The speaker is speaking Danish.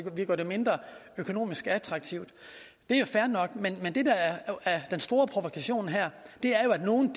økonomisk mindre attraktivt det er fair nok men det der er den store provokation her er at nogle